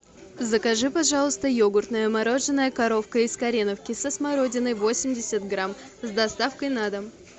закажи пожалуйста йогуртное мороженое коровка из кореновки со смородиной восемьдесят грамм с доставкой на дом